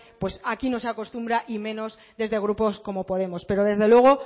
aquí no se acostumbra y menos desde grupos como podemos pero desde luego